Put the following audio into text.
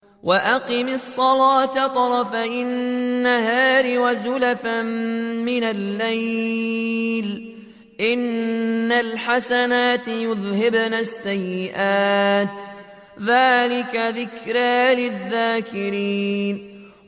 وَأَقِمِ الصَّلَاةَ طَرَفَيِ النَّهَارِ وَزُلَفًا مِّنَ اللَّيْلِ ۚ إِنَّ الْحَسَنَاتِ يُذْهِبْنَ السَّيِّئَاتِ ۚ ذَٰلِكَ ذِكْرَىٰ لِلذَّاكِرِينَ